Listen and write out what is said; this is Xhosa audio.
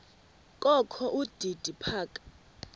kokho udidi phaka